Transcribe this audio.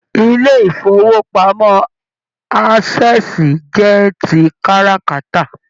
Ilé ifowopamọ Access jẹ tí káràkátà.